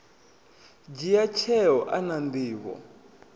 dzhia tsheo a na nḓivho